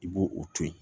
I b'o o to yen